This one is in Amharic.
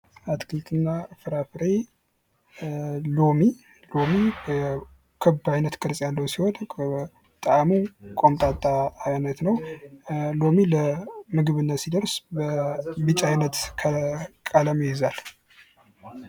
አትክልት እና ፍራፍሬ ሎሚ፤ ሎሚ ክብ አይነት ቅርጽ ያለው ሲሆን ጣእሞ ቆምጣጣ አይነት ነው፤ እንዲሁም ለምግብነት ሲደርስ ቢጫ አይነት ቀለም ይይዛል።